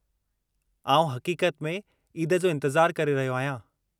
आउं हक़ीक़त में ईद जो इंतिज़ारु करे रहियो आहियां।